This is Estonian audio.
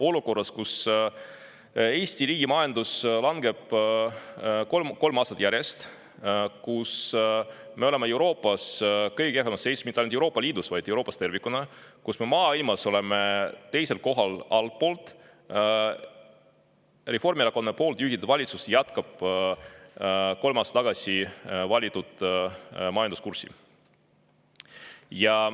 Olukorras, kus Eesti riigi majandus langeb kolmandat aastat järjest, kus me oleme Euroopas kõige kehvemas seisus, mitte ainult Euroopa Liidus, vaid Euroopas tervikuna, kus me oleme maailmas altpoolt teisel kohal, jätkab Reformierakonna juhitud valitsus kolm aastat tagasi valitud majanduskurssi.